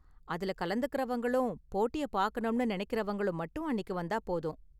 அதுல கலந்துக்கறவங்களும், போட்டிய பாக்கணும்னு நினைக்கறவங்களும் மட்டும் அன்னிக்கு வந்தா போதும்.